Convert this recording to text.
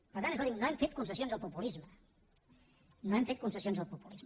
per tant escolti’m no hem fet concessions al populisme no hem fet concessions al populisme